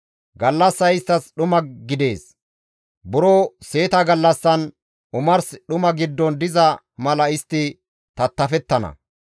Gallassay isttas dhuma gidees; buro seeta gallassan omars dhuma giddon diza mala istti tattafettana.